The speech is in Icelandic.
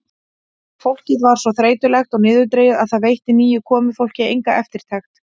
Fólkið var svo þreytulegt og niðurdregið að það veitti nýju komufólki enga eftirtekt.